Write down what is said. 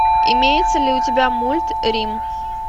имеется ли у тебя мульт рим